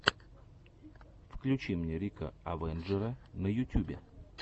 включи мне рика авенджера на ютюбе